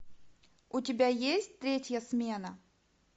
у тебя есть третья смена